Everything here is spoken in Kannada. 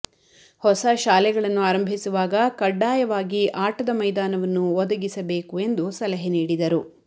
ಹೊಸ ಶಾಲೆಗಳನ್ನು ಆರಂಭಿಸುವಾಗ ಕಡ್ಡಾಯವಾಗಿ ಆಟದ ಮೈದಾನವನ್ನು ಒದಗಿಸಬೇಕು ಎಂದು ಸಲಹೆ ನೀಡಿದರು